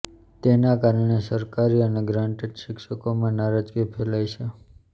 તેના કારણે સરકારી અને ગ્રાન્ટેડ શિક્ષકોમાં નારાજગી ફેલાઈ છે